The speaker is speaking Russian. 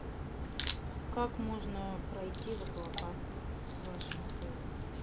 как можно пройти в аквапарк в вашем отеле